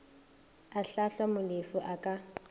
a hlahlwa molefi a ka